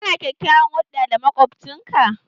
Ka na kyakyawan hulɗa da makwabcin ka?